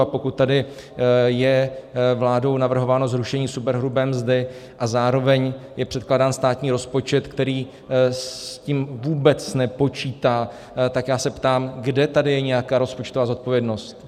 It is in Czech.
A pokud tady je vládou navrhováno zrušení superhrubé mzdy a zároveň je předkládán státní rozpočet, který s tím vůbec nepočítá, tak já se ptám, kde tady je nějaká rozpočtová zodpovědnost.